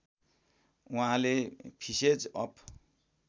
उहाँले फिसेज अफ